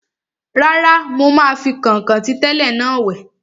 Rárá, mo máa fi kọ̀nkọ̀n ti tẹ́lẹ̀ náà wẹ̀